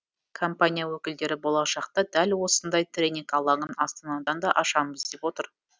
компания өкілдері болашақта дәл осындай тренинг алаңын астанадан да ашамыз деп отыр